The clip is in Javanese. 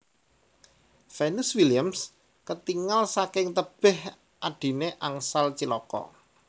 Venus Williams ketingal saking tebeh adhine angsal cilaka